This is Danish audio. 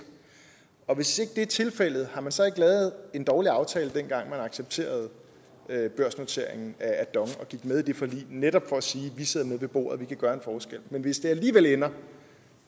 og hvis det ikke er tilfældet har man så ikke lavet en dårlig aftale dengang man accepterede børsnoteringen af dong og gik med i det forlig netop for at sige vi sidder med ved bordet vi kan gøre en forskel men hvis det alligevel ender